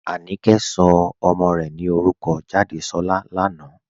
Ànìkẹ̀ sọ̀ ọmọ́ rè ní orúkọ́ Jádésọ̀lá lànà"